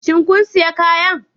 Shin kun sayi kayan?